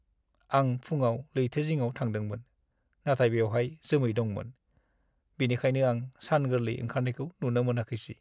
आं फुङाव लैथो जिङाव थांदोंमोन, नाथाय बेवहाय जोमै दंमोन, बेनिखायनो आं सान गोरलै ओंखारनायखौ नुनो मोनाखैसै।